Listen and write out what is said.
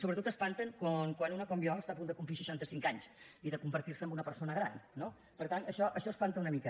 sobretot espanten quan una com jo està a punt de complir seixanta cinc anys i de convertir se en una persona gran no per tant això espanta una mica